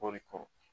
Kɔɔri kɔrɔ